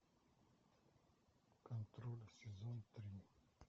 контроль сезон три